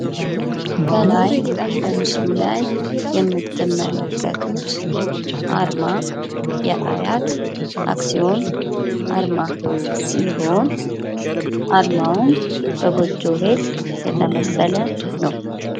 ከላይ በምስሉ ላይ የምትመለከቱት አርማ የአያት አክሲዮን አርማ ሲሆን አርማውም በጎጆ ቤት የተመሰለ ነው።